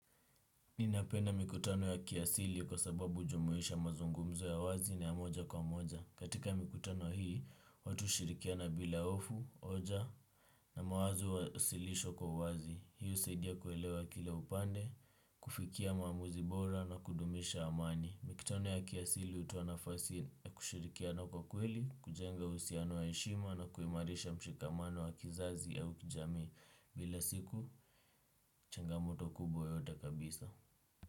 Ninapenda mikutano ya kiasili kwa sababu ujumuisha mazungumzo ya wazi na ya moja kwa moja. Katika mikutano hii, watu ushirikiana bila ofu, oja na mawazo uwasilisho kwa uwazi. Hii usaidia kuelewa kila upande, kufikia maamuzi bora na kudumisha amani. Mikutano ya kiasili utoa nafasi na kushirikiana kwa kweli, kujenga usiano waeshima na kuimarisha mshikamano wa kizazi au kijami. Bila siku, changa moto kubwa yoyote kabisa.